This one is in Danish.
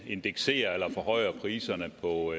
at indeksere eller forhøje priserne på